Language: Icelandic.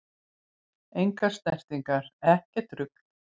Engar snertingar, ekkert rugl!